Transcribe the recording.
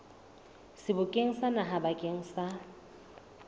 sebokeng sa naha bakeng sa